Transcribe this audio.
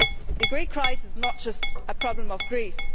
The Greek crisis is not just a problem of Greece.